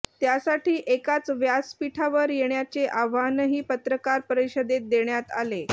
त्यासाठी एकाच व्यासपीठावर येण्याचे आव्हानही पत्रकार परिषदेत देण्यात आले